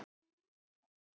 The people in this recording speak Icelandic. Þá var oft feikna fjör.